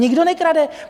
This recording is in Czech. Nikdo nekrade.